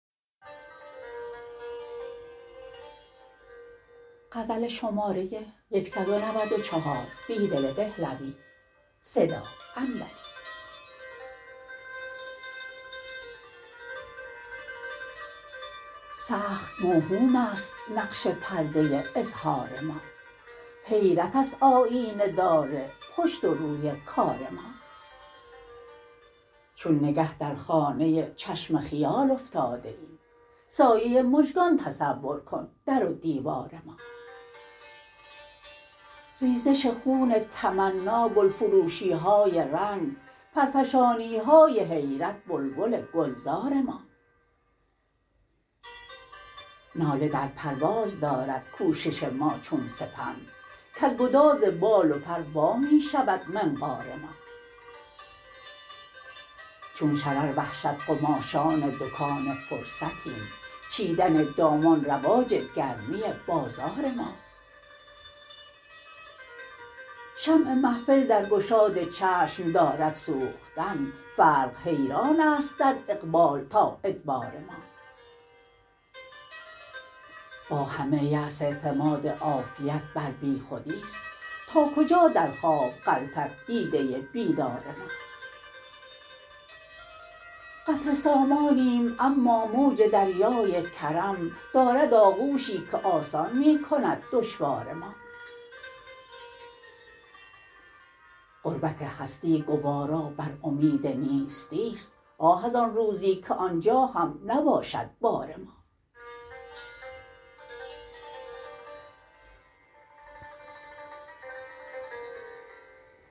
سخت موهوم است نقش پرده اظهار ما حیرت است آیینه دار پشت و روی کار ما چون نگه در خانه چشم خیال افتاده ایم سایه مژگان تصور کن در و دیوار ما ریزش خون تمنا گل فروشی های رنگ پرفشانی های حیرت بلبل گلزار ما ناله در پرواز دارد کوشش ما چون سپند کز گداز بال و پر وا می شود منقار ما چون شرر وحشت قماشان دکان فرصتیم چیدن دامان رواج گرمی بازار ما شمع محفل در گشاد چشم دارد سوختن فرق حیران است در اقبال تا ادبار ما با همه یأس اعتماد عافیت بر بی خودی ست ناکجا در خواب غلتد دیده بیدار ما قطره سامانیم اما موج دریای کرم دارد آ غوشی که آسان می کند دشوار ما غربت هستی گوارا بر امید نیستی ست آه ازآن روزی که آنجا هم نباشد بار ما